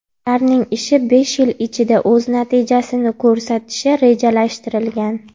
Ularning ishi besh yil ichida o‘z natijasini ko‘rsatishi rejalashtirilgan.